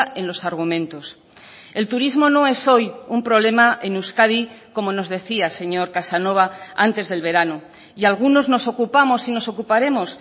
en los argumentos el turismo no es hoy un problema en euskadi como nos decía señor casanova antes del verano y algunos nos ocupamos y nos ocuparemos